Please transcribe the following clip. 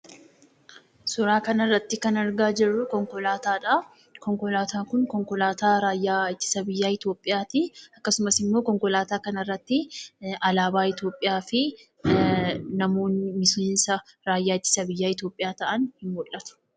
Suuraa kanarratti kan argaa jirru konkolaataadha. Konkolaataan kun, konkolaataa raayyaa ittisa biyyaa Itoophiyaadha. Akkasumas, immoo konkolaataa kanarratti alaabaa Itoophiyaa fi namoonni miseensa raayyaa ittisa biyyaa Itoophiyaa ta'an mul'atuudha.